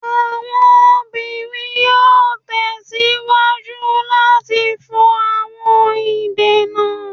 Awọn obinrin yoo tẹsiwaju lati fọ awọn idena